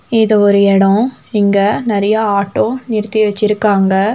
இது ஒரு எடோ இங்க நெறையா ஆட்டோ நிறுத்தி வெச்சிருக்காங்க.